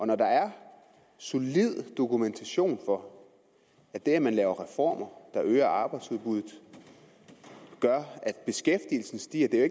når der er solid dokumentation for at det at man laver reformer der øger arbejdsudbuddet gør at beskæftigelsen stiger det er